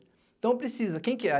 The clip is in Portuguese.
Então precisa, quem que é?